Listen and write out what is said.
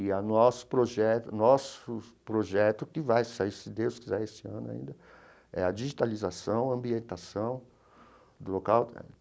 E o nosso projeto nosso projeto, que vai sair, se Deus quiser, esse ano ainda, é a digitalização, a ambientação do local.